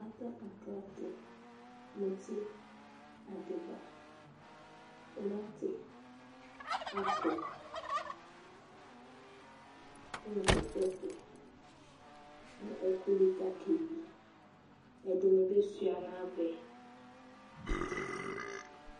aklate muti adiba tʋmati Apple dʋnu potɛto dunu ɛkʋli kakɛyi ɛdinbi shuanavɛ